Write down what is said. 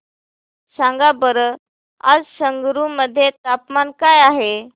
सांगा बरं आज संगरुर मध्ये तापमान काय आहे